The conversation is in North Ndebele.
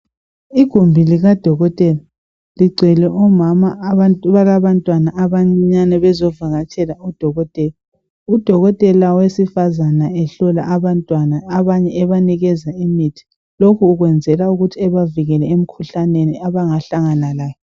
Igumbi likadokotela ligcwele omama. Abalabantwana abancinyane. Bezivakatshela udokotela. Udokotela wesifazane ehlola abantwana. Abanye ebanikeza imithi. Lokhu ukwenzela ukuthi abavikele, emikhuhlaneni, abangahlangana layo.